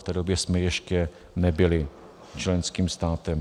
V té době jsme ještě nebyli členským státem.